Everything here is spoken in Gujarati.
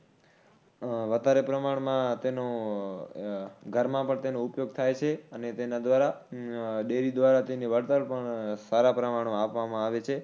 વધારે પ્રમાણમાં તેનો ઘરમાં પણ તેનો ઉપયોગ થાય છે અને તેના દ્વારા ડેરી દ્વારા તેની વળતર પણ સારા પ્રમાણમાં આપવામાં આવે છે